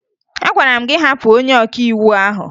Agwara m gị hapụ onye ọkàiwu ahụ!